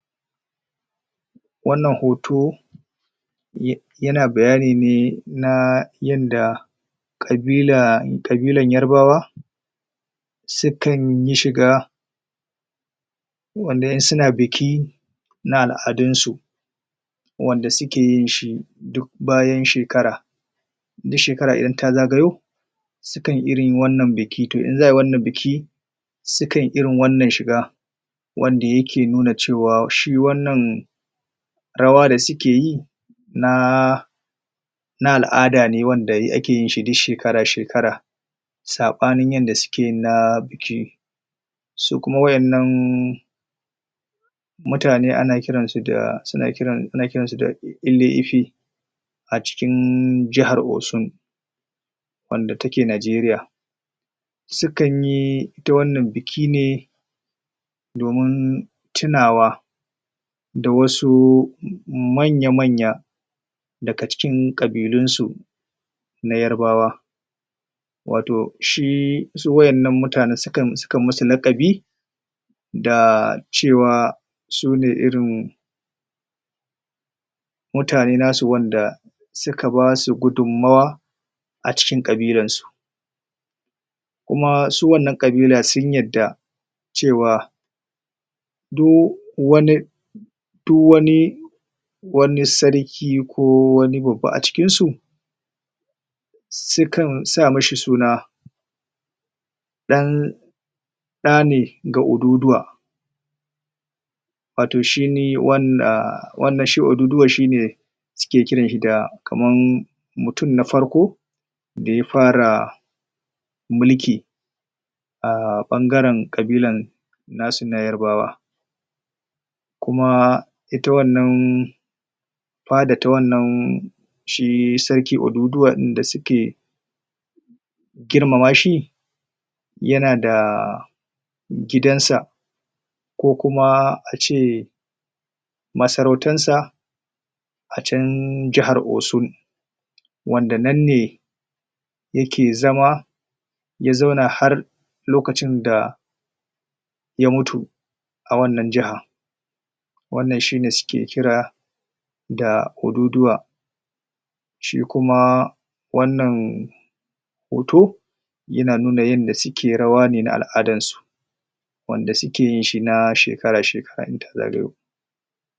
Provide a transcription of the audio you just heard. wannan hoto um yana bayani ne naa yanda kabilaa kabilan yarbawa su kan yi shiga wanda in suna biki na al'adunsu wanda suke yin shi duk bayan shekara duk shekara idan ta zagayo su kan irin wannan biki to in zaa wannan biki su kan irin wannan shiga wanda yake nuna cewa shi wannan rawa da sukeyi naaa na al'ada na wanda ake yin shi duk shekara shekara sabanin yadda suke yin na biki su kuma wa'ennan mutane ana kiran su da suna um ana kiransu da ile ifi a cikin jahar osun wanda take nijeriya su kanyi ita wannan biki ne domin tunawa da wasu manya manya daga cikin kabilansu na yarbawa wato shi su wa'ennan mutane su kan um musu lakabi daa cewa sune irin mutane nasu wanda suka basu gudunmawa a cikin kabilansu kumaa su wannan kabila sun yarda cewa duk wani duk wani wani sarki ko wani babba a cikinsu su kan sa mashi suna dan da ne ga oduduwa wato shine wanda um wanda shi oduduwa shine suke kiran shi da kamar mutum na farko mutum na farko da ya fara mulki aa bangaren kabilan nasu na yarbawa kumaa ita wannan faada ta wannan shii sarki oduduwa din da suke girmama shi yana da gidansa ko kuma ace masarautan sa a chan jahar osun wanda nan ne yake zama ya zauna har lokacin da ya mutu a wannan jaha wannan shine suke kira daa oduduwa shi kuma wannan hoto yana nuna yadda sule rawa ne na al'adansu wanda suke yin shi na shekara shekara idan ta zagayo